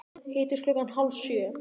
Hittumst klukkan hálf sjö.